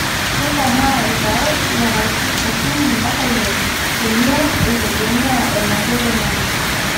keikomaa ilpaek lapaitin okuni mpaka ile teniun eitegemea eneyia oloingange